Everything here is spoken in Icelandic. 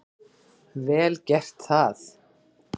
Vel gert það.